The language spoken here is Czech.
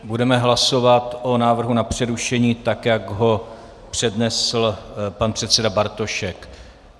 Budeme hlasovat o návrhu na přerušení, tak jak ho přednesl pan předseda Bartošek.